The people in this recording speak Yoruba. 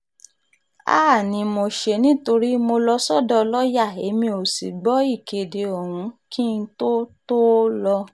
háà ni mo ṣe nítorí mo lọ sọ́dọ̀ lọ́ọ́yà èmi ò sì gbọ́ ìkéde ọ̀hún kí n tóó tóó lọ